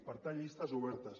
per tant llistes obertes